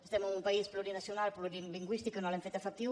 estem en un país plurinacional plurilingüístic que no l’hem fet efectiu